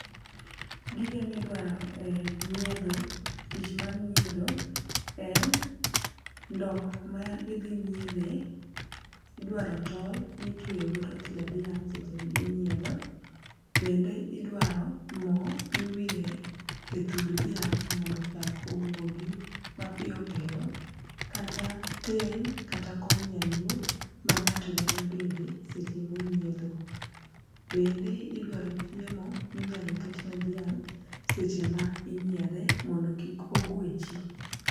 Gige midwaro e nyiedho tich mar nyiedho en ndoo ma idhi nyiedhe. Idwaro tol mitweyo godo tie dhiang' seche mi inyiedho, bende idwaro moo miwire e thund dhiang' mondo chak owuogi mapiyopiyo kata ten kata kom nyaluo ma ng'ato nyalo bede seche monyiedho. Bende idwaro chiemo minyalo ket ne dhiang' seche ma inyiedhe mondo kik ogwechi.